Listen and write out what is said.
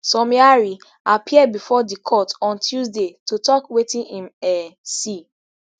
somiari appear bifor di court on tuesday to tok wetin im um see